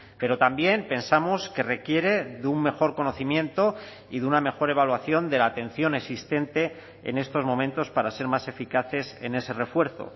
pero también pensamos que requiere de un mejor conocimiento y de una mejor evaluación de la atención existente en estos momentos para ser más eficaces en ese refuerzo